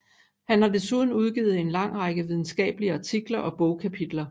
Han har desuden udgivet en lang række videnskabelige artikler og bogkapitler